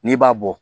N'i b'a bɔ